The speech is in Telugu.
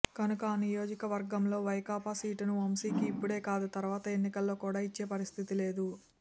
కనుక ఆ నియోజక వర్గంలో వైకాపా సీటును వంశీకి ఇప్పుడే కాదు తర్వాత ఎన్నికల్లో కూడా ఇచ్చే పరిస్థితి లేదు